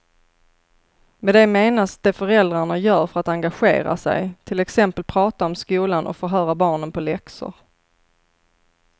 Med det menas det föräldrarna gör för att engagera sig, till exempel prata om skolan och förhöra barnen på läxor.